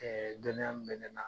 dɔnniya min bɛ ne la.